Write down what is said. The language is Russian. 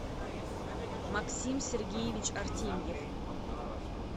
максим сергеевич артемьев